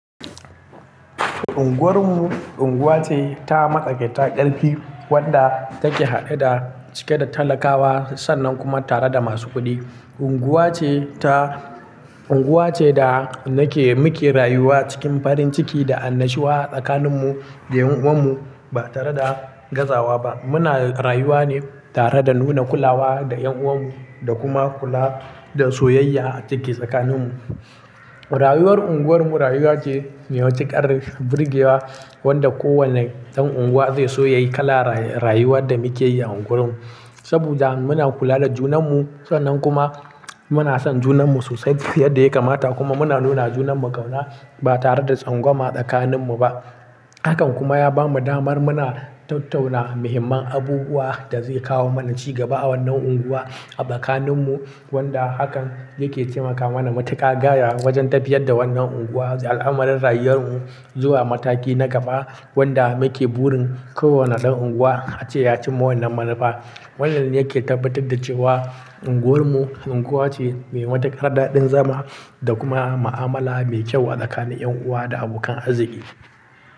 Unguwarmu unguwa ce ta matsakaita ƙarfi wadda take haɗe da cike da talakawa sannan kuma tare da masu kuɗi. Unguwa ce ta-- unguwa ce da nake muke rayuwa cikin farin ciki da annashuwa tsakaninmu da 'yan'uwanmu ba tare da gazawa ba. Muna rayuwa ne tare da nuna kulawa da 'yan'uwanmu da kuma kula da soyayya da dake tsakaninmu. Rayuwar unguwarmu rayuwa ce mai matuƙar birgewa wadda kowane dan unguwa zai so ya yi kala rayuwar da muke yi a unguwarmu. Saboda muna kula da junanmu sannan kuma muna son junanmu sosai yadda ya kamata kuma muna nuna junanmu ƙauna ba tare da tsangwama tsakaninmu ba. Hakan kuma ya bamu damar muna tattauna muhimman abubuwan da zai kawo mana ci gaba a wannan unguwa a tsakaninmu wadda hakan yake taimakawa na matuƙa gaya wajen tafiyar da wannan unguwa al'amuran rayuwar mu zuwa mataki na gaba wanda muke burin kowane dan unguwa ace ya cimma wannan manufa. Wannan yake tabbatar da cewa unguwarmu unguwa ce mai matuƙar daɗin zama da kuma ma'amala mai kyau a tsakanin 'yan'uwa da abokan arziki.